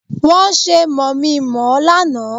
Wọ́n ṣe mọ̀mí-n-mọ̀-ọ́ lánàá